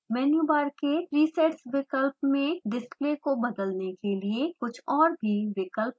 मेनू bar के presets विकल्प में डिस्प्ले को बदलने के लिए कुछ और भी विकल्प होते हैं